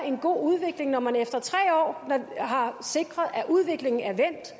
en god udvikling når man efter tre år har sikret at udviklingen er vendt